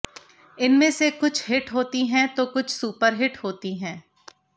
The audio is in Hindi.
इनमें से कुछ हिट होती हैं तो कुछ सुपरहिट होती हैं